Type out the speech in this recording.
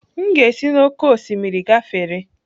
M ga-esi n'oké osimiri gafere.